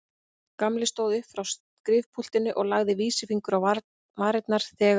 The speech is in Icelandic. Gamli stóð upp frá skrifpúltinu og lagði vísifingur á varirnar þegar